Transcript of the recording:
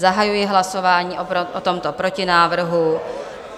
Zahajuji hlasování o tomto protinávrhu.